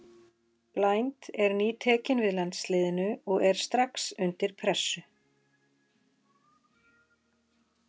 Blind er nýtekinn við landsliðinu og er strax undir pressu.